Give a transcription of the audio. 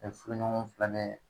fuluɲɔgɔnw fula bɛɛ